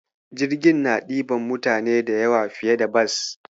Jirgin na ɗiban mutane da yawa fiye da Bas.